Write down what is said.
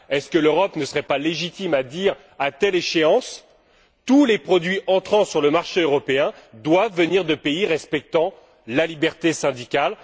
Est ce que l'Europe ne pourrait pas légitimement décider qu'à telle échéance, tous les produits entrant sur le marché européen doivent venir de pays respectant la liberté syndicale?